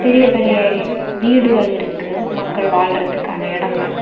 பெரிய பெரிய வீடுகள் இருக்கு மக்கள் வாழ்வதற்கான இடங்கள்.